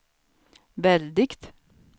väldigt